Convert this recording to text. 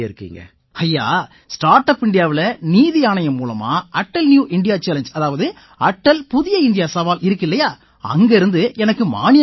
ஐயா start up இண்டியாவில நிதி ஆணையம் மூலமா அட்டால் நியூ இந்தியா சாலெங்கே அதாவது அடல் புதிய இந்தியா சவால் இருக்கில்லையா அங்கிருந்து எனக்கு மானியம் கிடைச்சிருக்கு